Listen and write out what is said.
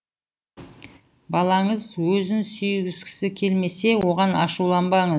балаңыз өзін сүйгізгісі келмесе оған ашуланбаңыз